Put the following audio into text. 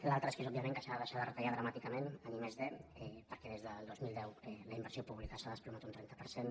l’altre és òbviament que s’ha de deixar de retallar dramàticament en i+d perquè des del dos mil deu la inversió pública s’ha desplomat un trenta per cent